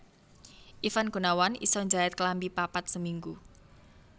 Ivan Gunawan iso njait klambi papat seminggu